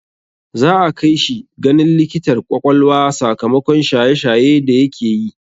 Za'a kai shi ganin likitar ƙwaƙwalwa sakamakon shaye shaye da yake yi.